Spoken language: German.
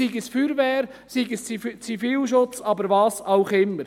sei es bei der Feuerwehr, sei es im Zivilschutz oder was auch immer.